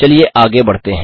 चलिए आगे बढ़ते हैं